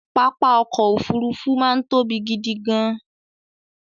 Pápá ọkọ̀ Òfurufú máa ń tóbi gidi gan-an